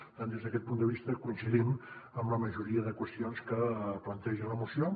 per tant des d’aquest punt de vista coincidim en la majoria de qüestions que planteja la moció